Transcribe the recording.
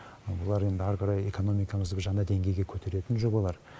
олар енді ары қарай экономикамызды бір жаңа деңгейге көтеретін жобалар